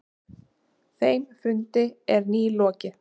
Þeim fundi er nýlokið.